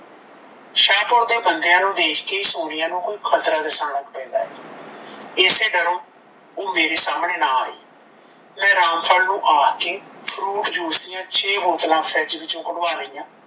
ਸ਼ਾਹਪੁਰ ਦੇ ਬੰਦਿਆਂ ਨੂੰ ਦੇਖ ਕੇ ਸੋਨੀਆ ਨੂੰ ਕੋਈ ਖਤਰਾ ਦਿਸਣ ਲੱਗ ਪੈਂਦਾ ਏ ਇਸੇ ਡਰੋਂ ਓਹ ਮੇਰੇ ਸਾਹਮਣੇ ਨਾਂ ਆਈ ਮੈਂ ਰਾਮ ਫਲ ਨੂੰ ਆਖ ਕੇ ਫਰੂਟ ਜੂਸ ਦੀਆ ਛੇ ਬੋਤਲਾਂ ਫਰਿੱਜ ਵਿੱਚੋਂ ਕਢਵਾ ਲਈਆਂ